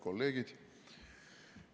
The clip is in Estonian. Kolleegid!